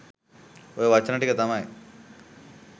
ඔය වචන ටික තමයි